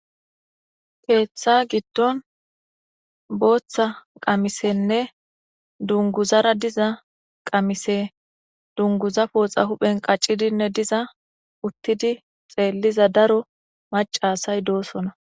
Keeththa giddon booththa qamisenne dunguzara diza qamise dunguza pooxa huphen qaccidinne diza uttidi xeelliza daro macasay doosona.